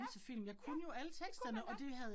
Ja, ja, det kunne man godt